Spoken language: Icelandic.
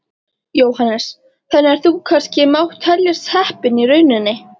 Jóhannes: Þannig að þú kannski mátt teljast heppinn í rauninni?